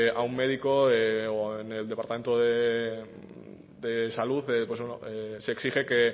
a un médico o en el departamento de salud se exige que